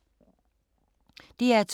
DR2